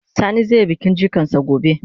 Sani zai yi bikin jikan sa gobe.